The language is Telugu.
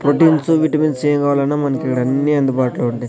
ప్రోటీన్సు విటమిన్స్ ఏం కావాలన్నా మనకికడన్నీ అందుబాటులో ఉంటాయ్.